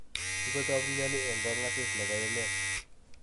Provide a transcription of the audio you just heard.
Kikotok mnyeni eng kong asis nebo emet.